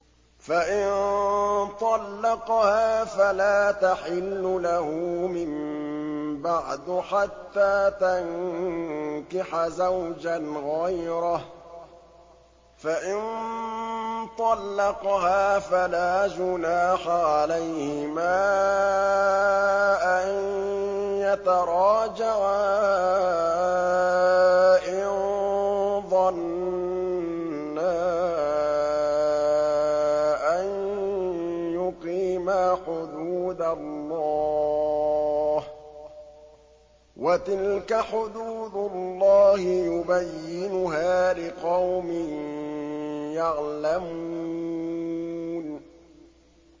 فَإِن طَلَّقَهَا فَلَا تَحِلُّ لَهُ مِن بَعْدُ حَتَّىٰ تَنكِحَ زَوْجًا غَيْرَهُ ۗ فَإِن طَلَّقَهَا فَلَا جُنَاحَ عَلَيْهِمَا أَن يَتَرَاجَعَا إِن ظَنَّا أَن يُقِيمَا حُدُودَ اللَّهِ ۗ وَتِلْكَ حُدُودُ اللَّهِ يُبَيِّنُهَا لِقَوْمٍ يَعْلَمُونَ